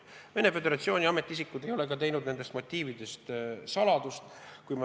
Venemaa Föderatsiooni ametiisikud ei ole ka nendest motiividest saladust teinud.